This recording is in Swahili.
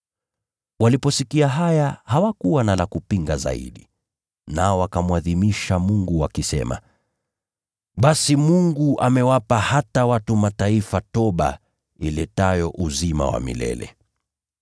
Waliposikia haya hawakuwa na la kupinga zaidi. Nao wakamwadhimisha Mungu wakisema, “Basi, Mungu amewapa hata watu wa Mataifa toba iletayo uzima wa milele.”